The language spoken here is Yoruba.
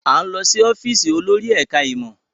À ń lọ sí ọ́fíìsì olórí ẹ̀ka-ìmọ̀.